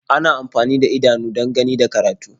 Ana amfani da idanu don gani da karatu.